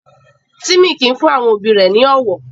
Timmy kìí fún àwọn òbí rẹ̀ ní ọwọ́.